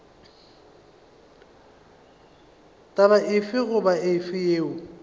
taba efe goba efe yeo